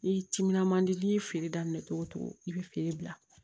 N'i timinan man di n'i ye feere daminɛ cogo cogo i bɛ feere bila